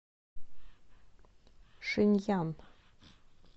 шэньян